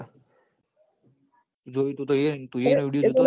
તુયે ઇના video જોતો હીન